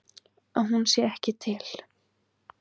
Að hún sé ekki til.